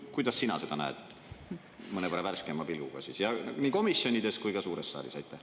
Kuidas sina seda näed mõnevõrra värskema pilguga, nii komisjonides kui ka suures saalis?